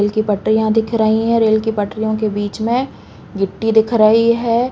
Rail की पटरियाँ दिख रहीं हैं। रेल की पटरियों के बीच में गिट्टी दिख रहीं हैं।